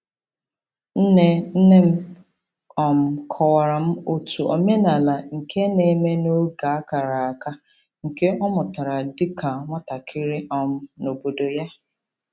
Nne nne m um kọwara m otu omenala nke na-eme n'oge a kara aka, nke ọ mụtara dịka nwatakịrị um n'obodo ya.